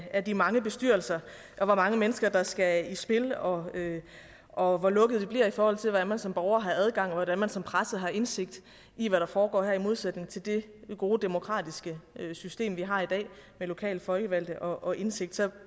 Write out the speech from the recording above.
af de mange bestyrelser og hvor mange mennesker der skal i spil og og hvor lukket det bliver i forhold til hvordan man som borger har adgang og hvordan man som presse har indsigt i hvad der foregår her i modsætning til det gode demokratiske system vi har i dag med lokale folkevalgte og indsigt så kan